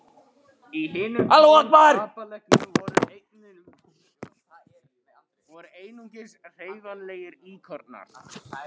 Í hinum tólf kapellunum voru einungis hreyfanlegir íkonar.